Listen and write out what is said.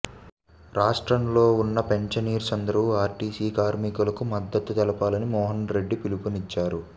రాష్ట్రం లో ఉన్న పెన్షనర్స్ అందరూ ఆర్టీసీ కార్మికులకు మద్దతు తెలపాలని మోహన్రెడ్డి పిలుపునిచ్చారు